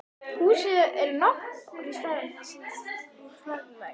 Húsið er nokkru stærra en það sýndist úr fjarlægð.